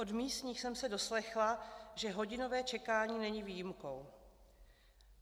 Od místních jsem se doslechla, že hodinové čekání není výjimkou.